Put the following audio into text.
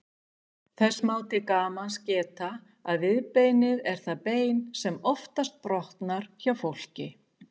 Þess má til gamans geta að viðbeinið er það bein sem oftast brotnar hjá fólki.